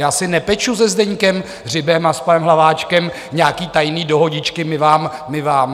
Já si nepeču se Zdeňkem Hřibem a s panem Hlaváčkem nějaké tajné dohodičky: My vám, my vám.